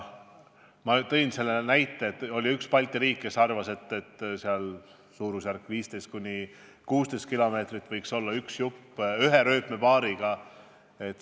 Ma tõin ennist näite, et oli üks Balti riik, kes arvas, et umbes 15–16 kilomeetri ulatuses võiks üks raudteelõik olla ühe rööpapaariga.